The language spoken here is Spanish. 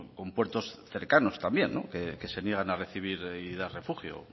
con puertos cercanos también que se niegan a recibir y dar refugio